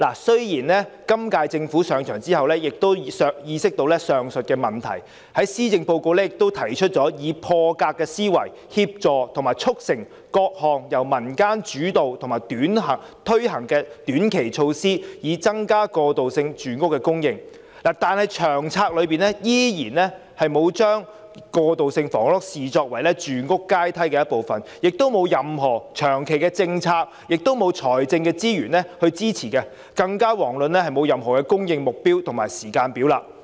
雖然今屆政府上場後亦意識到上述問題，在施政報告提出以破格思維，協助及促成各項由民間主導及推行的短期措施，以增加過渡性房屋的供應，但《長策》依然沒有把過渡性房屋視為住屋階梯的一部分，亦沒有任何長期政策及財政資源支持，更遑論有任何供應目標及時間表。